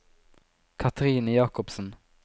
Cathrine Jacobsen